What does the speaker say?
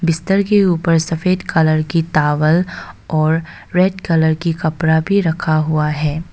बिस्तर के ऊपर सफेद कलर की टॉवल और रेड कलर की कपड़ा भी रखा हुआ है।